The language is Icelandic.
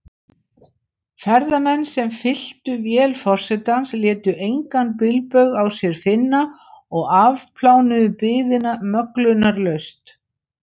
Ferðamenn, sem fylltu vél forsetans, létu engan bilbug á sér finna og afplánuðu biðina möglunarlaust.